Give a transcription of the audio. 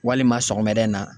Walima sɔgɔmada in na